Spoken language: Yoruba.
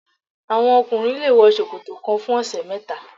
Àwọn ọkùnrin le wọ ṣòkòtò kan fún ọ̀sẹ̀ mẹ́ta.